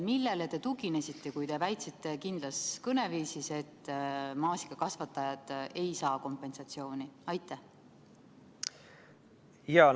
Millele te tuginesite, kui väitsite kindlas kõneviisis, et maasikakasvatajad ei saa kompensatsiooni?